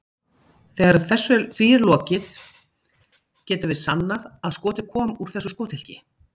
Þegar því er lokið getum við sannað að skotið kom úr þessu skothylki.